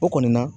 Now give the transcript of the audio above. O kɔni na